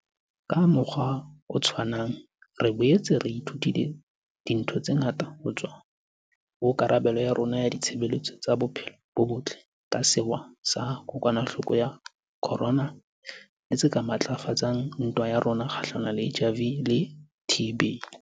Ka mokgwa o tshwanang, re boetse re ithutile dintho tse ngata ho tswa ho karabelo ya rona ya ditshebeletso tsa bophelo bo botle ka sewa sa kokwanahloko ya corona tse ka matlafatsang ntwa ya rona kgahlano le HIV le TB.